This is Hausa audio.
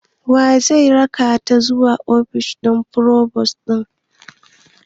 Waye zai rakata zuwa ofishi forubus ɗin?